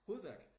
Hovedværk?